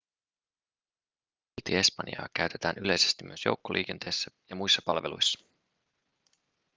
silti espanjaa käytetään yleisesti myös joukkoliikenteessä ja muissa palveluissa